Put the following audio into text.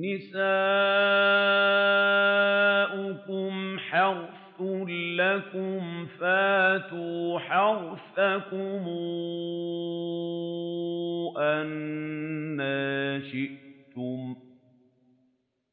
نِسَاؤُكُمْ حَرْثٌ لَّكُمْ فَأْتُوا حَرْثَكُمْ أَنَّىٰ شِئْتُمْ ۖ